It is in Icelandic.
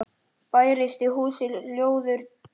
Bærist í húsi hljóður tregi.